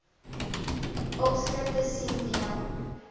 opskrifte sien deel